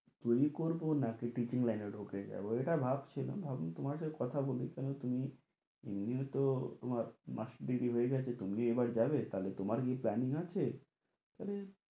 করবো না কি teaching লাইনে ঢুকে যাবো, এটা ভাব ছিলাম ভাবলাম তোমার সাথে কথা বলি কেন তুমি এমনিও তো তোমার তুমি এবার যাবে, তাহলে কী planning আছে? তাহলে